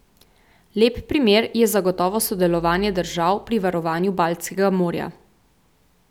Lep primer je zagotovo sodelovanje držav pri varovanju Baltskega morja.